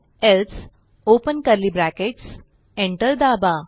else open curly brackets enter दाबा